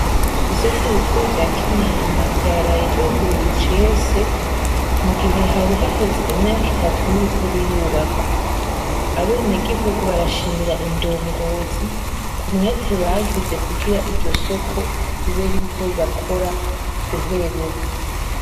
Isoko rikuri rya Kinama ryaraye ryuguruye icese, mugihe hari haheze imyaka itatu ririko rirubakwa. Abenegihugu barashimira indongozi, ku mwete bagize kugira iryo soko, ribe ririko rirakora guhera ubu.